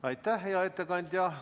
Aitäh, hea ettekandja!